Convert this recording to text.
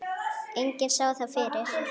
Enginn sá það fyrir.